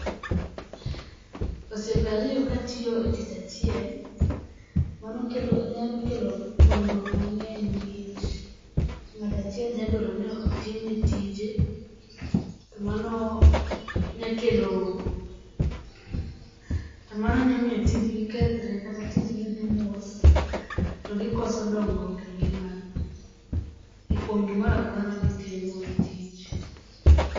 Osiepe ariyo ka tiyo e tich achiel, mano kelo nyalokelo gwandruok mange'ny nikech, nga'to achiel nyalo dwaro ni otimne tije to mano nyakelo to mano nyamiyo tiji kethre kata tijgi thi mos , to gikoso dongruok e ngi'magi e kuom gimoro amora amora magitimo e tich.